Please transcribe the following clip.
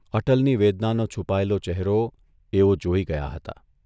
અટલની વેદનાનો છુપાયેલો ચહેરો એઓ જોઇ ગયા હતા